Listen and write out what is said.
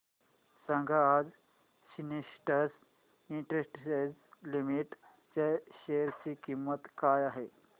सांगा आज Sintex industries limited च्या शेअर ची किंमत काय आहे